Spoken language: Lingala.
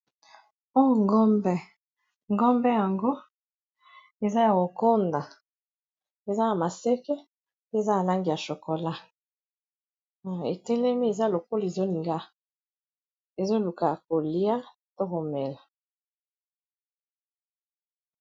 oyo ngombe , ngombe yango eza ya kokonda eza na maseke pe eza na langi ya chokola etelemi eza lokolo ezoluka kolia to komela